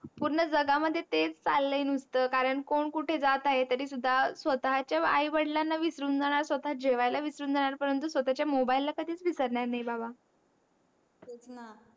पूर्ण जगामध्ये तेच चालय नुसत कारण कोण कुठे जात आहे तरी सुद्धा स्वताच्या आई वडिलांणा विसरून जाणार स्वता जेवायला विसरून जाणार परंतु स्वताच्या mobile ला कधीच विसरणार नाही बाबा तेच णा